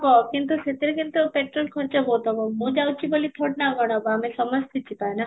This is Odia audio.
ହବ କିନ୍ତୁ ସେଠରେ କିନ୍ତୁ petrol ଖର୍ଚ୍ଚ ବହୁତ ହବ ମୁଁ ଯାଉଛି ବୋଲି ଥୋଡି ନା ଆଉ କ'ଣ ହବ ଆମେ ସମସ୍ତେ ଯିବା ନା